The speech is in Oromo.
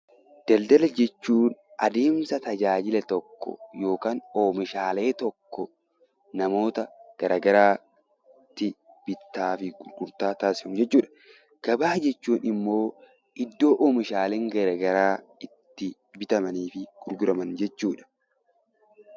Daldala jechuun adeemsa tajaajila tokko yookaan oomishaalee tokko namoota gara garaatti bittaa fi gurgurtaa taasifamu jechuudha. Gabaa jechuun immoo iddoo oomishaaleen gara garaa itti bitamanii fi gurguraman jechuudha.